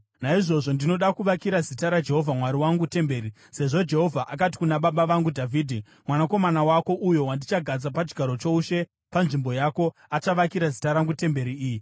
Naizvozvo ndinoda kuvakira zita raJehovha Mwari wangu temberi, sezvo Jehovha akati kuna baba vangu Dhavhidhi, ‘Mwanakomana wako, uyo wandichagadza pachigaro choushe panzvimbo yako, achavakira zita rangu temberi iyi.’